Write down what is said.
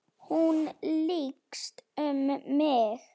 Hún lykst um mig.